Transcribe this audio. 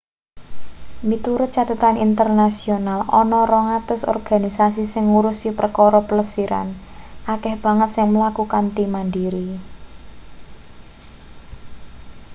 miturut cathetan internasional ana 200 organisasi sing ngurusi perkara plesiran akeh banget sing mlaku kanthi mandiri